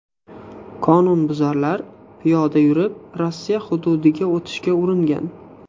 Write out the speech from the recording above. Qonunbuzarlar piyoda yurib Rossiya hududiga o‘tishga uringan.